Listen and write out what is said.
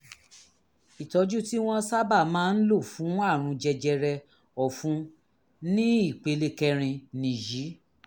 ìtọ́jú tí wọ́n sábà máa ń lò fún àrùn jẹjẹrẹ ọ̀fun ní ìpele kẹrin nìyí